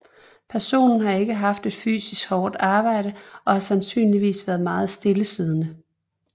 Personen har ikke haft et fysisk hårdt arbejde og har sandsynligvis været meget stillesiddende